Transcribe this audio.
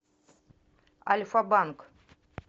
альфа банк